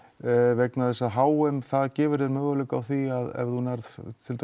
vegna þess að h m gefur þér möguleikann á því ef þú nærð